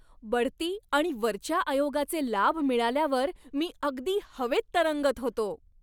बढती आणि वरच्या आयोगाचे लाभ मिळाल्यावर मी अगदी हवेत तरंगत होतो.